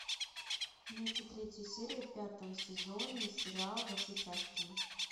найти третью серию пятого сезона сериал во все тяжкие